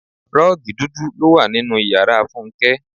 Rọ́ọ́gì dúdú ló wà nínú ìyára Fúnké.